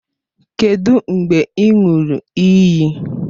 Kedụ mgbe ị ṅụrụ iyi?